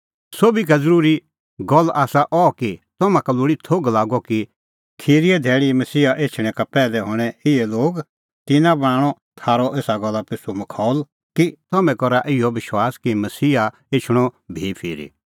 सोभी का ज़रूरी गल्ल आसा अह कि तम्हां का लोल़ी थोघ लागअ कि खिरीए धैल़ी मसीहा एछणैं का पैहलै हणैं इहै लोग तिन्नां बणांणअ थारअ एसा गल्ला पिछ़ू मखौल कि तम्हैं करा इहअ विश्वास कि मसीहा एछणअ भी फिरी तिन्नां हणअ एही बूरी गल्ला करनैओ भैस्स पल़अ द ज़ेता करै तिंयां खुश हआ